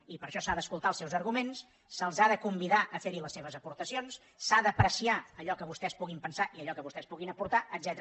i per això s’han d’escoltar els seus arguments se’ls ha de convidar a fer les seves aportacions s’ha d’apreciar allò que vostès puguin pensar i allò que vostès puguin aportar etcètera